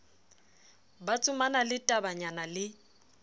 ba tsomana le tabanyana le